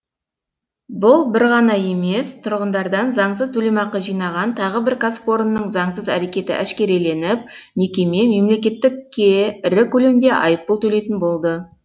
бір бұл ғана емес тұрғындардан заңсыз төлемақы жинаған тағы бір кәсіпорынның заңсыз әрекеті әшкереленіп мекеме мемлекетке ірі көлемде айыппұл төлейтін болды